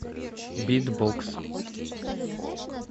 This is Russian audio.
битбокс